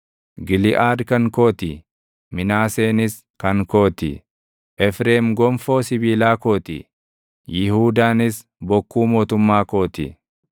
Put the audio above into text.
Giliʼaad kan koo ti; Minaaseenis kan koo ti; Efreem gonfoo sibiilaa koo ti; Yihuudaanis bokkuu mootummaa koo ti.